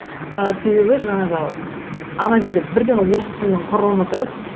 ы себебі жаңағы м ана жерде бірден орыс тілінің құрылымы тұрады